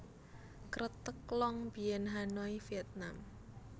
Kreteg Long Bien Hanoi Vietnam